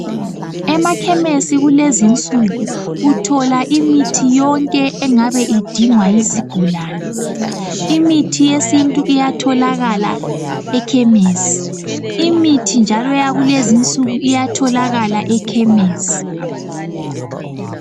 Emakhemesi kulezi nsuku uthola imithi yonke engabe idingwa yizigulane, imithi yesintu iyatholakala ekhemesi , imithi njalo eyakulezi nsuku iyatholakala ekhemesi.